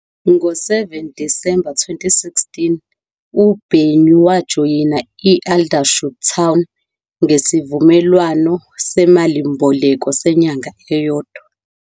Ngo-7 Disemba 2016, uBenyu wajoyina i- Aldershot Town ngesivumelwano semalimboleko senyanga eyodwa.